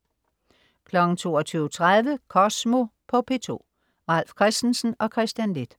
22.30 Kosmo på P2. Ralf Christensen og Kristian Leth